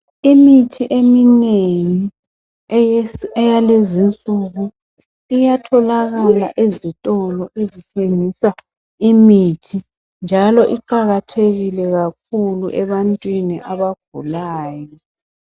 Imithi eminengi eyalezinsuku iyatholakala ezitolo ezithengisa imithi njalo iqakathekile kakhulu ebantwini abagulayo.